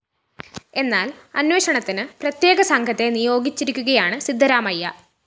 എന്നാല്‍ അന്വേഷണത്തിന് പ്രത്യേക സംഘത്തെ നിയോഗിച്ചിരിക്കുകയാണ് സിദ്ധരാമയ്യ